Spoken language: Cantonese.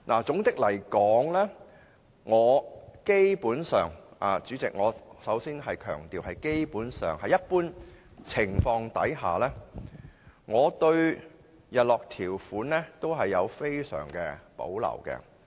總括而言，代理主席，首先我要強調，基本上，在一般情況下，我對日落條款也非常有保留。